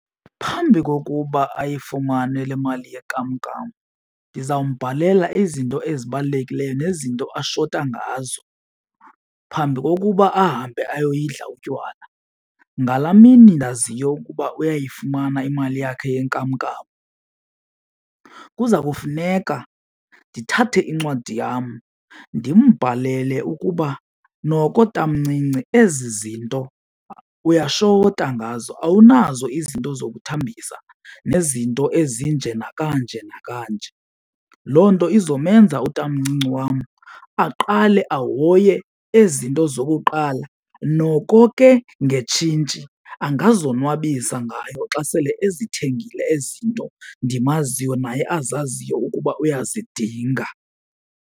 Phambi kokuba ayifumane le mali yenkamnkam ndizawumbhalela izinto ezibalulekileyo nezinto ashota ngazo phambi kokuba ahambe ayoyithenga utywala. Ngalaa mini ndaziyo ukuba uyayifumana imali yakhe yenkamnkam kuza kufuneka ndithathe incwadi yam ndimbhalele ukuba noko, tamncinci, ezi zinto uyashota ngazo. Awunazo izinto zokuthambisa nezinto ezinje nakanje nakanje, loo nto izomenza utatomncinci wam aqale ahoye ezi zinto zokuqala. Noko ke ngetshintshi angazonwabisa ngayo xa sele ezithengile ezi zinto ndimaziyo naye azaziyo ukuba uyazidinga.